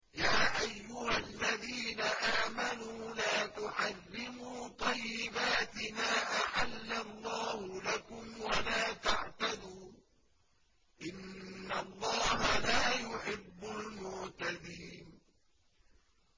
يَا أَيُّهَا الَّذِينَ آمَنُوا لَا تُحَرِّمُوا طَيِّبَاتِ مَا أَحَلَّ اللَّهُ لَكُمْ وَلَا تَعْتَدُوا ۚ إِنَّ اللَّهَ لَا يُحِبُّ الْمُعْتَدِينَ